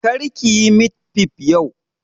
Kar ki yi mit fif yau!